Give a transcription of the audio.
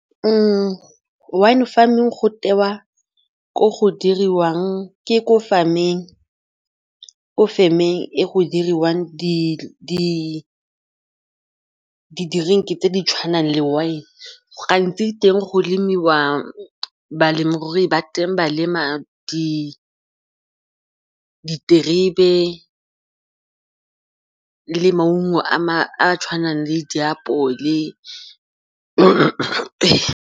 Wine farming go tewa ko farm-eng ee, go diriwang di-drink-e tse di tshwanang le wine gantsi balemirui ba teng ba lema di diterebe le maungo a a tshwanang le diapole.